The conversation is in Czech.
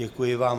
Děkuji vám.